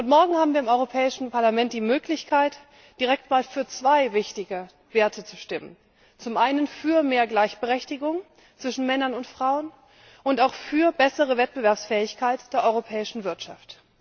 Morgen haben wir im Europäischen Parlament die Möglichkeit, direkt für zwei wichtige Werte zu stimmen zum einen für mehr Gleichberechtigung zwischen Männern und Frauen und für bessere Wettbewerbsfähigkeit der europäischen Wirtschaft.